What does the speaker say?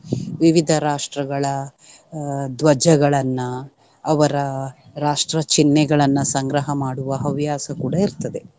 ವಿವಿಧ ರಾಷ್ಟ್ರಗಳ ಅಹ್ ಧ್ವಜಗಳನ್ನ ಅವರ ರಾಷ್ಟ್ರ ಚಿಹ್ನೆಗಳನ್ನ ಸಂಗ್ರಹ ಮಾಡುವ ಹವ್ಯಾಸ ಕೂಡ ಇರ್ತದೆ.